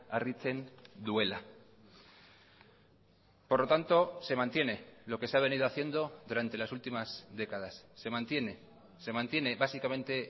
harritzen duela por lo tanto se mantiene lo que se ha venido haciendo durante las últimas décadas se mantiene se mantiene básicamente